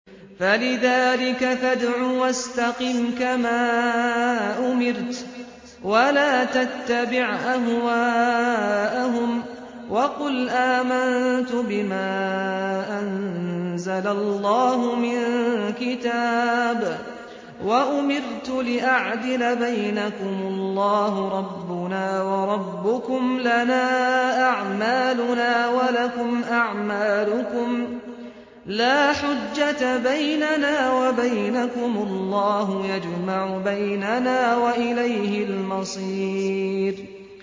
فَلِذَٰلِكَ فَادْعُ ۖ وَاسْتَقِمْ كَمَا أُمِرْتَ ۖ وَلَا تَتَّبِعْ أَهْوَاءَهُمْ ۖ وَقُلْ آمَنتُ بِمَا أَنزَلَ اللَّهُ مِن كِتَابٍ ۖ وَأُمِرْتُ لِأَعْدِلَ بَيْنَكُمُ ۖ اللَّهُ رَبُّنَا وَرَبُّكُمْ ۖ لَنَا أَعْمَالُنَا وَلَكُمْ أَعْمَالُكُمْ ۖ لَا حُجَّةَ بَيْنَنَا وَبَيْنَكُمُ ۖ اللَّهُ يَجْمَعُ بَيْنَنَا ۖ وَإِلَيْهِ الْمَصِيرُ